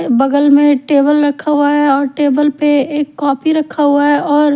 बगल में एक टेबल रखा हुआ और टेबल पे एक कॉपी रखा हुआ है और--